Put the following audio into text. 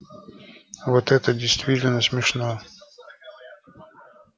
вот это действительно смешно